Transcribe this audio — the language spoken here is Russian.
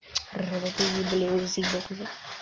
роботы ебли узбек уже